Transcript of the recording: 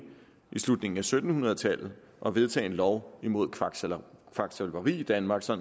i slutningen af sytten hundrede tallet at vedtage en lov imod kvaksalveri kvaksalveri i danmark så